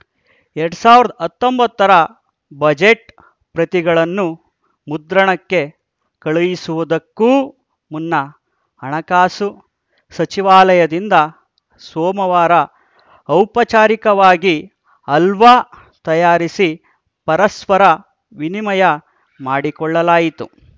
ಎರಡ್ ಸಾವಿರದ ಹತ್ತೊಂಬತ್ತರ ಬಜೆಟ್‌ ಪ್ರತಿಗಳನ್ನು ಮುದ್ರಣಕ್ಕೆ ಕಳುಹಿಸುವುದಕ್ಕೂ ಮುನ್ನ ಹಣಕಾಸು ಸಚಿವಾಲಯದಿಂದ ಸೋಮವಾರ ಔಪಚಾರಿಕವಾಗಿ ಹಲ್ವಾ ತಯಾರಿಸಿ ಪರಸ್ಪರ ವಿನಿಮಯ ಮಾಡಿಕೊಳ್ಳಲಾಯಿತು